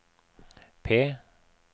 P